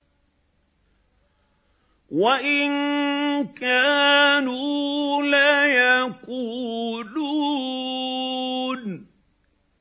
وَإِن كَانُوا لَيَقُولُونَ